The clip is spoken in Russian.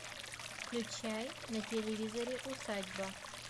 включай на телевизоре усадьба